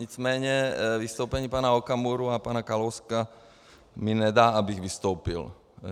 Nicméně vystoupení pana Okamury a pana Kalouska mi nedá, abych vystoupil.